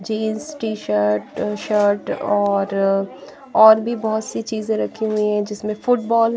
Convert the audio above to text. jeans T-shirt shirt और और भी बहुत सी चीजें रखी हुई हैं जिसमें फुटबॉल --